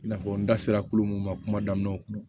I n'a fɔ n da sera kulu mun ma kuma daminɛw kɔnɔ